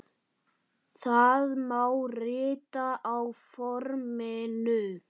Það má rita á forminu